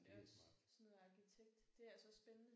Det er også sådan noget arkitekt det er også spændende